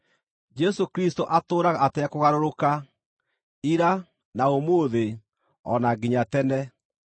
Jesũ Kristũ atũũraga atekũgarũrũka, ira, na ũmũthĩ, o na nginya tene.